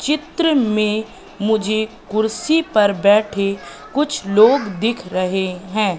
चित्र में मुझे कुर्सी पर बैठे कुछ लोग दिख रहे हैं।